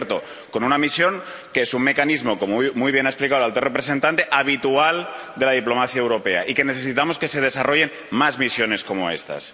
Por cierto, con una misión que es un mecanismo —como muy bien ha explicado el alto representante— habitual de la diplomacia europea, y necesitamos que se desarrollen más misiones como estas.